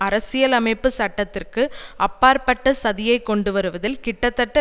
அரசியல் அமைப்பு சட்டத்திற்கு அப்பாற்பட்ட சதியைக் கொண்டு வருவதில் கிட்டத்தட்ட